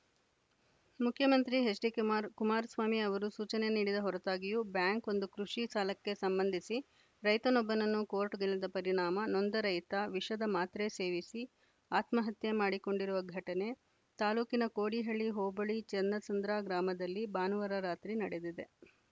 ಮುಖ್ಯಮಂತ್ರಿ ಎಚ್‌ಡಿಕುಮಾರಸ್ವಾಮಿ ಅವರು ಸೂಚನೆ ನೀಡಿದ ಹೊರತಾಗಿಯೂ ಬ್ಯಾಂಕ್‌ ಒಂದು ಕೃಷಿ ಸಾಲಕ್ಕೆ ಸಂಬಂಧಿಸಿ ರೈತನೊಬ್ಬನನ್ನು ಕೋರ್ಟ್‌ಗೆಳೆದ ಪರಿಣಾಮ ನೊಂದ ರೈತ ವಿಷದ ಮಾತ್ರೆ ಸೇವಿಸಿ ಆತ್ಮಹತ್ಯೆ ಮಾಡಿಕೊಂಡಿರುವ ಘಟನೆ ತಾಲೂಕಿನ ಕೋಡಿಹಳ್ಳಿ ಹೋಬಳಿ ಚನ್ನಸಂದ್ರ ಗ್ರಾಮದಲ್ಲಿ ಭಾನುವಾರ ರಾತ್ರಿ ನಡೆದಿದೆ